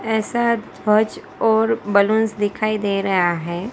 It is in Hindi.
ऐसा ध्वज और बलूंस दिखाई दे रहा है।